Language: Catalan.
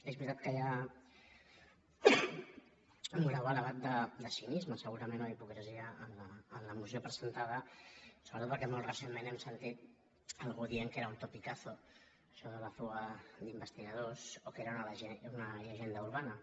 és veritat que hi ha un grau elevat de cinisme segurament o d’hipocresia en la moció presentada sobretot perquè molt recentment hem sentit algú dient que era un topicazo això de la fuga d’investigadors o que era una llegenda urbana